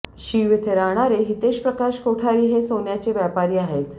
शीव येथे राहणारे हितेश प्रकाश कोठारी हे सोन्याचे व्यापारी आहेत